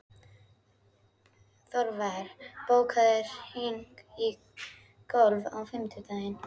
Þorvar, bókaðu hring í golf á fimmtudaginn.